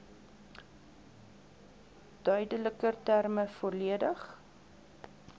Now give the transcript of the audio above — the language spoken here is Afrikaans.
duideliker terme volledig